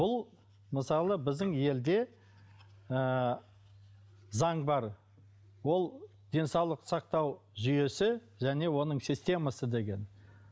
бұл мысалы біздің елде ыыы заң бар ол денсаулық сақтау жүйесі және оның системасы деген